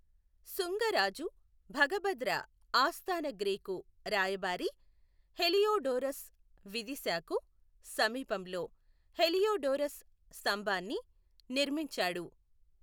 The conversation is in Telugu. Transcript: శుంగ రాజు భగభద్ర ఆస్థాన గ్రీకు రాయబారి హెలియోడోరస్ విదిశాకు సమీపంలో హెలియోడోరస్ స్తంభాన్ని నిర్మించాడు.